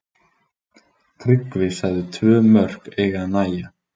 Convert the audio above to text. Tryggvi sagði tvö mörk eiga að nægja.